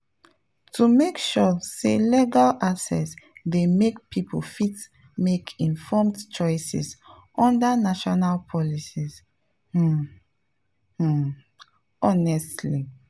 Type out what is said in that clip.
to make sure say legal access dey make people fit make informed choices under national policies pause um honestly.